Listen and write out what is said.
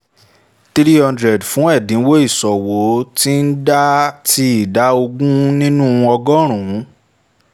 three hundred fún ẹdinwo iṣowo ti ida ogun ninu ọgọ́rùn-ún